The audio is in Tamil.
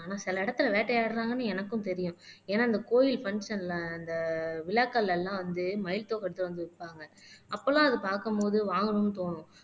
ஆனா சில இடத்துல வேட்டையாடுறாங்கன்னு எனக்கும் தெரியும் ஏன்னா இந்த கோயில் பங்ஷன்ல அந்த விழாக்கள் எல்லாம் வந்து மயில் தோகைதா வந்து விப்பாங்க அப்பெல்லாம் அதை பாக்கும்போது வாங்கணும்னு தோணும்